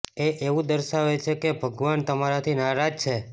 એ એવું દર્શાવે છે કે ભગવાન તમારાથી નારાજ છે